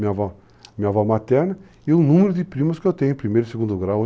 Minha avó materna e o número de primos que eu tenho em primeiro e segundo grau.